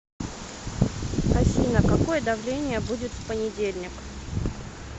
афина какое давление будет в понедельник